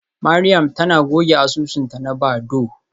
Mariam tana goge asusunta na Badoo.